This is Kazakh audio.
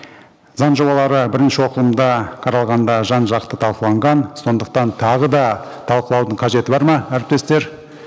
заң жобалары бірінші оқылымда қаралғанда жан жақты талқыланған сондықтан тағы да талқылаудың қажеті бар ма әріптестер